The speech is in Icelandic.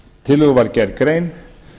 tillögu var gerð grein